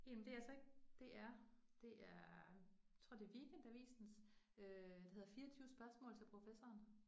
En det er så ikke DR, det er tror det Weekendavisens øh, der hedder 24 spørgsmål til professoren